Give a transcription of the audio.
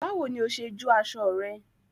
Báwo ni o ṣe jó aṣọ rẹ?